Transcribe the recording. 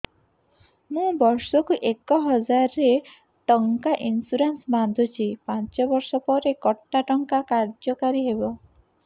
ମୁ ବର୍ଷ କୁ ଏକ ହଜାରେ ଟଙ୍କା ଇନ୍ସୁରେନ୍ସ ବାନ୍ଧୁଛି ପାଞ୍ଚ ବର୍ଷ ପରେ କଟା ଟଙ୍କା କାର୍ଯ୍ୟ କାରି ହେବ